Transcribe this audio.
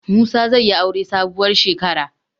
Musa zai yi aure sabuwar shekara.